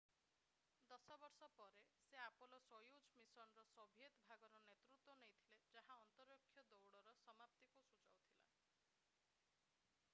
ଦଶ ବର୍ଷ ପରେ ସେ ଆପୋଲୋ-ସୋୟୁଜ୍ ମିଶନ୍‌ର ସୋଭିଏତ୍ ଭାଗର ନେତୃତ୍ୱ ନେଇଥିଲେ ଯାହା ଅନ୍ତରୀକ୍ଷ ଦୌଡ଼ର ସମାପ୍ତିକୁ ସୂଚାଉଥିଲା।